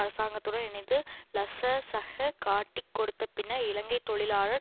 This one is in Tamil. அரசாங்கத்துடன் இணைந்து லசசக காட்டிக் கொடுத்த பின்னர் இலங்கை தொழிலாளர்